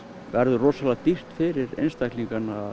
verður rosalega dýrt fyrir einstaklinga